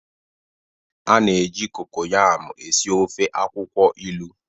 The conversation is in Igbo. A na-eji kokoyam esi ofe akwukwo ilu.